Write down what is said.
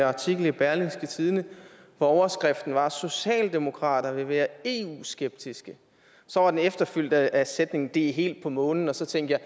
artikel i berlingske tidende hvor overskriften var socialdemokrater vil være eu skeptiske så var den efterfulgt af sætningen det er helt på månen så tænkte jeg